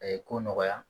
A ye ko nɔgɔya